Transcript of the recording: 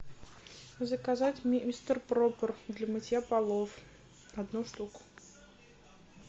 заказать мистер пропер для мытья полов одну штуку